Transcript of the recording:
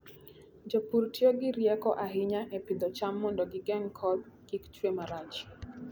Jopur tiyo gi rieko ahinya e pidho cham mondo gigeng' koth kik chue marach.